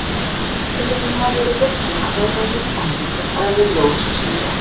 En hvernig getur maður verið viss um að núverandi kenning um eðli ljós sé rétt?